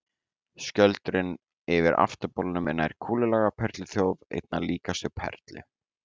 Skjöldurinn yfir afturbolnum er nær kúlulaga á perluþjóf, einna líkastur perlu.